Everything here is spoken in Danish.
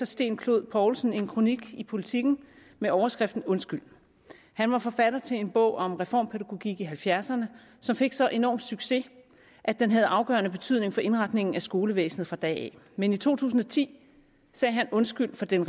sten clod poulsen en kronik i politiken med overskriften undskyld han var forfatter til en bog om reformpædagogik i nitten halvfjerdserne som fik så enorm en succes at den havde afgørende betydning for indretningen af skolevæsenet fra da af men i to tusind og ti sagde han undskyld for den